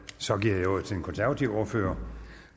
så giver jeg ordet til den konservative ordfører